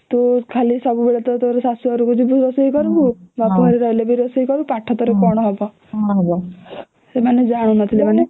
ତୁ ଖାଲି ଟା ସବୁବେଳେ ଟା ଶାଶୁ ଘରକୁ ଗଲେ ରୋଷେଇ କରିବୁ ବାପଘରେ ରହିଲେ ବି ରୋଷେଇ କରିବୁ ତ ପାଠ ତୋର କଣ ହବ ସେମାନେ ଜାଣୁ ନଥିଲେ